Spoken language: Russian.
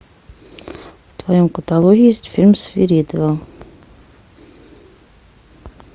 в твоем каталоге есть фильм свиридовы